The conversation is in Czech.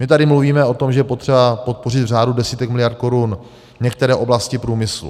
My tady mluvíme o tom, že je potřeba podpořit v řádu desítek miliard korun některé oblasti průmyslu.